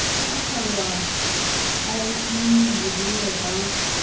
ho akgellwa ie lebollo ka